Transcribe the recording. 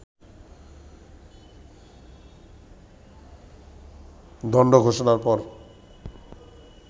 দণ্ড ঘোষণার পর